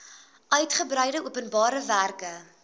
uigebreide openbare werke